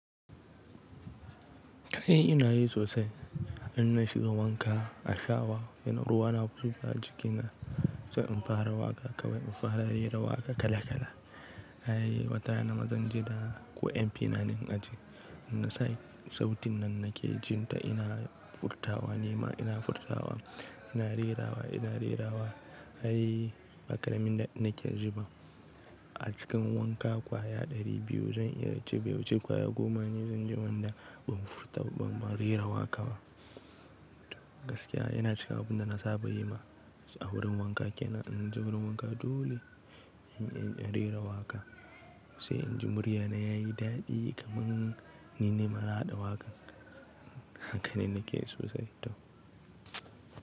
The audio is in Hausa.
Kai ina yi sosai, in na shiga wanka a shawa ina ruwa na fufa a jikina sai in fara waƙa kawai, in fara rera waƙa kala kala. Ai wata rana ma zan je da ko MP na ne in ajiye. In nasa sautin nan na ke jin ta ina furtawa nima ina furtawa, ina rerawa ina rerawa ai Baƙraamin ɗaɗi nake jiba. A cikin wanka kwaya ɗari biyu zan iya ce be wuce kwaya goma ne zan je wanda ban furta ban, ban rera waka ba. Gaskiya yana cika abun da na saba yi ma a wurin wanka ke nan ina je wurin wanka dole in, in, in rera waƙa sai inji murya na yayi daɗi kaman nine mana haɗa waƙan. Haka ne nake sosai, to.